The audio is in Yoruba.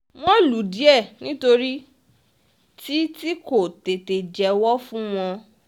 wọ́n lù ú díẹ̀ nítorí tí tí kò tètè jẹ́wọ́ fún wọn